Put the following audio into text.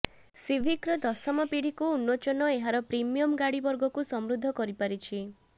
ସିଭିକ୍ର ଦଶମ ପିଢ଼ିକୁ ଉନ୍ମୋଚନ ଏହାର ପ୍ରିମିୟମ୍ ଗାଡ଼ି ବର୍ଗକୁ ସମୃଦ୍ଧ କରିପାରିଛି